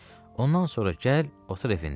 Ondan sonra gəl otur evində.